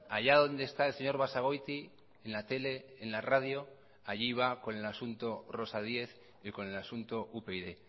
allá donde está el señor basagoiti en la tele en la radio allí va con el asunto rosa díez y con el asunto upyd